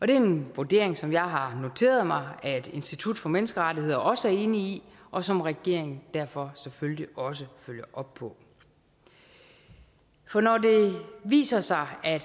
det er en vurdering som jeg har noteret mig at institut for menneskerettigheder også er enige i og som regeringen derfor selvfølgelig også følger op på for når det viser sig at